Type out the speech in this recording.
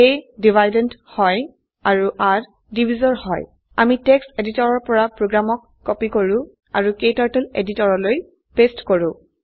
a dividend হয় আৰু r divisor হয় আমি টেক্সট এডিটৰৰ পৰা প্ৰোগ্ৰামক কপি কৰো আৰু ক্টাৰ্টল এডিটৰলৈ পেস্ট কৰো